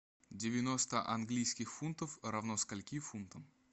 девяносто английских фунтов равно скольки фунтам